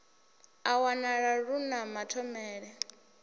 a wanala lu na mathomele